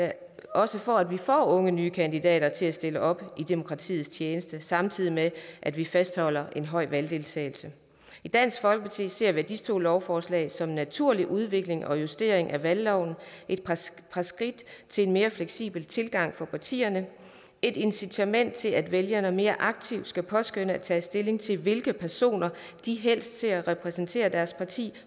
også for at vi får unge nye kandidater til at stille op i demokratiets tjeneste samtidig med at vi fastholder en høj valgdeltagelse i dansk folkeparti ser vi disse to lovforslag som en naturlig udvikling og justering af valgloven et par skridt til en mere fleksibel tilgang for partierne et incitament til at vælgerne mere aktivt skal påskønne at tage stilling til hvilke personer de helst ser repræsentere deres parti